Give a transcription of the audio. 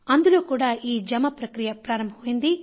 అందులో కూడా ఈ జమ ప్రక్రియ ప్రారంభమైంది